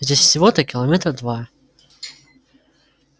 здесь всего-то километра два